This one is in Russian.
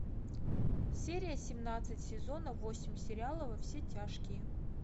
серия семнадцать сезона восемь сериала во все тяжкие